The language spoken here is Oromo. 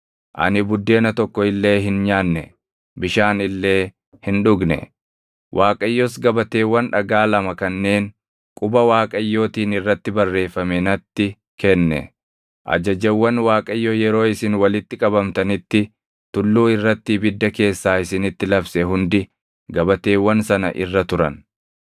Waaqayyos gabateewwan dhagaa lama kanneen quba Waaqayyootiin irratti barreeffame natti kenne. Ajajawwan Waaqayyo yeroo isin walitti qabamtanitti tulluu irratti ibidda keessaa isinitti labse hundi gabateewwan sana irra turan.